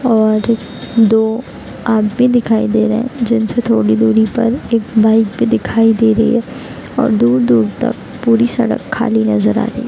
और दो आदमी दिखाई दे रहे हैं जिनसे थोड़ी दूरी पर एक बाइक भी दिखाई दे रही है और दूर-दूर तक पूरी सड़क खाली नजर आ रही है।